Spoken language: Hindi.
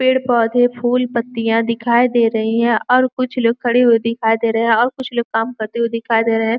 पेड़-पौधे फूल पत्तिया दिखाई दे रही हैं और कुछ लोग खड़े हुए दिखाई दे रहे हैं और कुछ लोग काम करते हुए दिखाई दे रहे हैं।